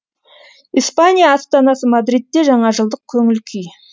испания астанасы мадридте жаңажылдық көңіл күй